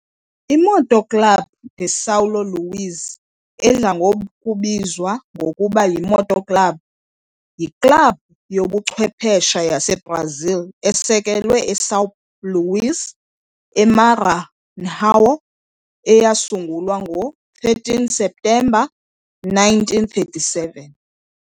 I-Moto Club de São Luís, edla ngokubizwa ngokuba yi-Moto Club, yiklabhu yobuchwephesha yaseBrazil esekelwe eSão Luís, eMaranhão eyasungulwa ngo-13 Septemba 1937.